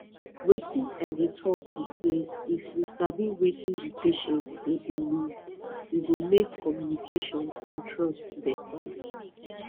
wetin i dey talk be say if we sabi wetin di patient dey believe e go make communication and trust better